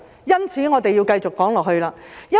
因此，我要繼續說下去。